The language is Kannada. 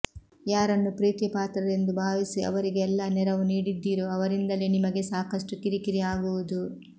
ಯಾರನ್ನು ಪ್ರೀತಿ ಪಾತ್ರರೆಂದು ಭಾವಿಸಿ ಅವರಿಗೆ ಎಲ್ಲಾ ನೆರವು ನೀಡಿದ್ದೀರೋ ಅವರಿಂದಲೇ ನಿಮಗೆ ಸಾಕಷ್ಟು ಕಿರಿಕಿರಿ ಆಗುವುದು